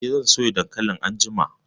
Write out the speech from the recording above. Eh, zan soya dankalin anjima